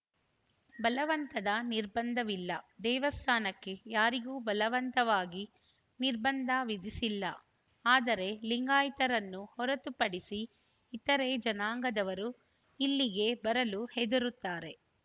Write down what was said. ಬಲವಂತದ ನಿರ್ಬಂಧವಿಲ್ಲ ದೇವಸ್ಥಾನಕ್ಕೆ ಯಾರಿಗೂ ಬಲವಂತವಾಗಿ ನಿರ್ಬಂಧ ವಿಧಿಸಿಲ್ಲ ಆದರೆ ಲಿಂಗಾಯತರನ್ನು ಹೊರತುಪಡಿಸಿ ಇತರೆ ಜನಾಂಗದವರು ಇಲ್ಲಿಗೆ ಬರಲು ಹೆದರುತ್ತಾರೆ